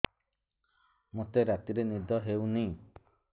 ମୋତେ ରାତିରେ ନିଦ ହେଉନି